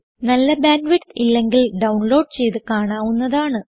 നല്ല bandwidth ഇല്ലെങ്കിൽ download ചെയ്ത് കാണാവുന്നതാണ്